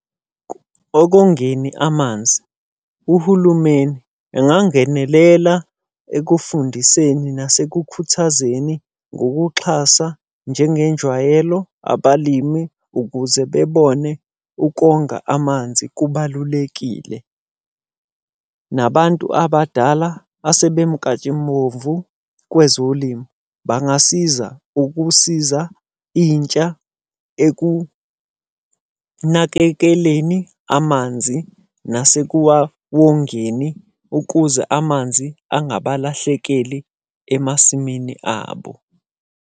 Okongeni amanzi. Uhulumeni engangenelela ekufundiseni nasekukhuthazeni ngokuxhasa njengenjwayelo abalimi ukuze bebone ukonga amanzi kubalulekile. Nabantu abadala asebemnkantshubovu kwezolimo, bangasiza ukusiza intsha ekunakekeleni amanzi nase kuwawongeni ukuze amanzi angabalahlekeli emasimini abo.